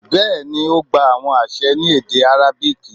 bẹẹni, o gba awọn aṣẹ ni ede arabic